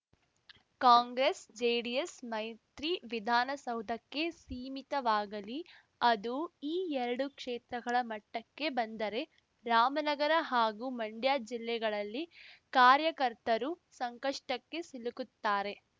ಕಾಂಗ್ರೆಸ್‌ಜೆಡಿಎಸ್‌ ಮೈತ್ರಿ ವಿಧಾನಸೌಧಕ್ಕೆ ಸೀಮಿತವಾಗಲಿ ಅದು ಈ ಎರಡು ಕ್ಷೇತ್ರಗಳ ಮಟ್ಟಕ್ಕೆ ಬಂದರೆ ರಾಮನಗರ ಹಾಗೂ ಮಂಡ್ಯ ಜಿಲ್ಲೆಗಳಲ್ಲಿ ಕಾರ್ಯಕರ್ತರು ಸಂಕಷ್ಟಕ್ಕೆ ಸಿಲುಕುತ್ತಾರೆ